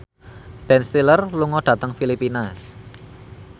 Ben Stiller lunga dhateng Filipina